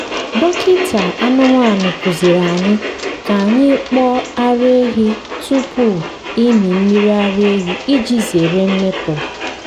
dọkịta anụmanụ kụziri anyị ka anyị kpoo ara ehi tupu ịmị mmiri ara iji zere mmetọ.